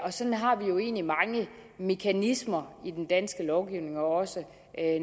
sådan har vi jo egentlig mange mekanismer i den danske lovgivning også